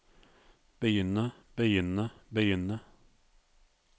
begynne begynne begynne